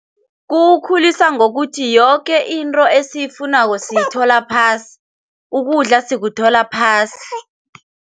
Kukhulisa ngokuthi yoke into esiyifunako siyithola phasi, ukudla sikuthola phasi.